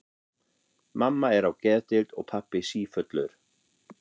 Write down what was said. Mamma er á geðdeild og pabbi sífullur.